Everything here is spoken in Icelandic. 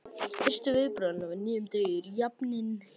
Fyrstu viðbrögð hennar við nýjum degi eru jafnan hin sömu.